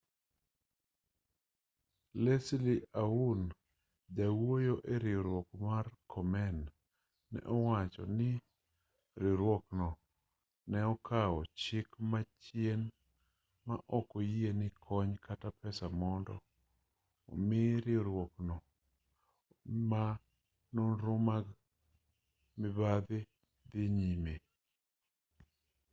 leslie aun jawuoyo eriwruok mar komen ne owacho ni riwruokno ne okawo chik machien ma ok oyie ni kony kata pesa mondo omi riwruok ma nonro gi mag mibadhi dhii nyime